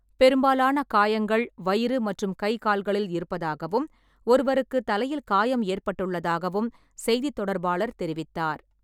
பெரும்பாலான காயங்கள் வயிறு மற்றும் கைகால்களில் இருப்பதாகவும், ஒருவருக்குத் தலையில் காயம் ஏற்பட்டுள்ளதாகவும் செய்தித் தொடர்பாளர் தெரிவித்தார்.